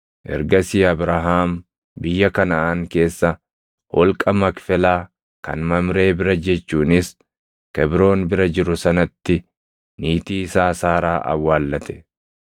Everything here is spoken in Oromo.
Ergasii Abrahaam biyya Kanaʼaan keessa, holqa Makfelaa kan Mamree bira jechuunis Kebroon bira jiru sanatti niitii isaa Saaraa Awwaallate.